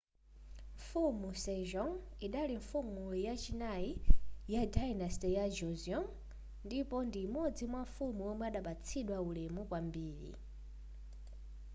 mfumu sejong idali mfumu yachinayi ya dynasty ya joseon ndipo ndi imodzi mwamafumu omwe imapatsidwa ulemu kwambiri